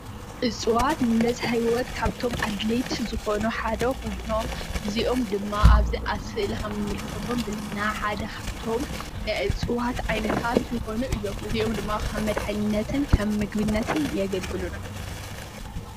እፅዋት ነዛ ህይወት ካብቶም ኣድለይቲ ዝበሃሉ ሓደ ኾይኖም እዚኦም ድማ ኣብዚ ኣብ ስእሊ ከምንምልከቶም ሓደ ካብቶም ናይ እፅዋት ዓይነታት ዝኾኑ እዩም፡፡ እዚኦም ድማ ኸም መድሓኒትነትን ኸም ምግብነትን የገልግሉና፡፡